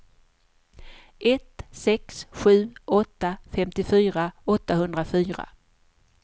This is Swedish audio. ett sex sju åtta femtiofyra åttahundrafyra